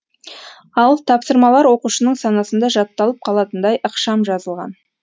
ал тапсырмалар оқушының санасында жатталып қалатындай ықшам жазылған